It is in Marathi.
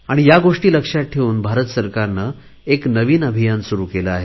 ह्या गोष्टी लक्षात ठेवून भारत सरकारने नवीन अभियान सुरु केले आहे